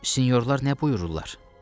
Sinyorlar nə buyururlar?